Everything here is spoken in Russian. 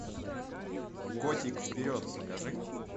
котик вперед покажи